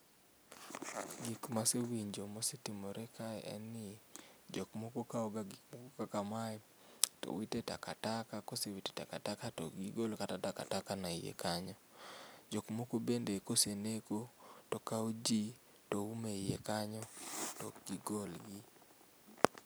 Gik ma asewinjo ma osetimore kae en ni jok moko kaw ga gik kaka mae to wite taka taka kosewite taka taka to ok gigol kata taka taka no e iye kanyo. Jok moko bende ka oseneko to kao jii to umo e iye kanyo to ok gigol gi